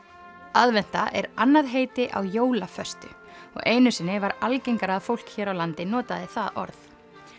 aðventa er annað heiti á jólaföstu og einu sinni var algengara að fólk hér á landi notaði það orð